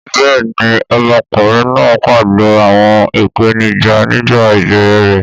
Bẹ́ẹ̀ni, ọmọkùnrin náà pàdé àwọn ìpèníjà nígbà ìbẹ̀rẹ̀ rẹ̀.